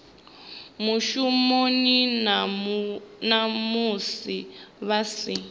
mushumoni na musi vha si